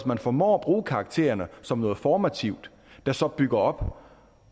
man formår at bruge karaktererne som noget formativt der så bygger op